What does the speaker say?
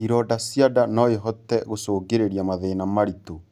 Ironda cia ndaa noĩhote gũcũngĩrĩrĩa mathĩna maritu